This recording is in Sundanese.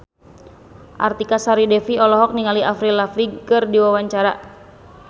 Artika Sari Devi olohok ningali Avril Lavigne keur diwawancara